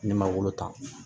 Ne ma wolo ta